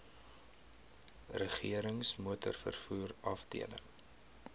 regerings motorvervoer afdeling